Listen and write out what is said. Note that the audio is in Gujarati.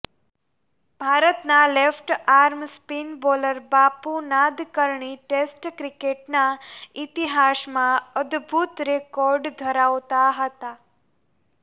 ભારતના left arm spin bowler Bapu Nadkarni test ક્રિકેટના ઇતિહાસમાં અદ્ભુત રિકોર્ડ ધરાવતા હતા